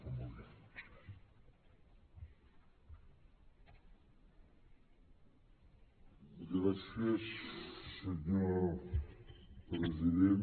gràcies senyor president